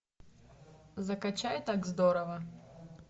закачай так здорово